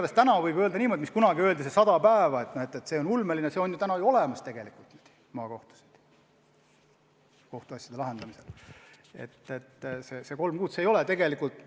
Ja täna võib öelda niimoodi, et kunagine ulmeline eesmärk 100 päeva on ju maakohtus kohtuasjade lahendamisel tegelikult saavutatud.